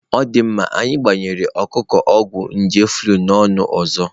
Ọ dị mma, anyị gbanyere ọkụkọ ọgwụ nje flu nnụnụ ọzọ.